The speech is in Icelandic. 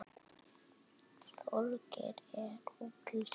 Þorgeir er úr leik.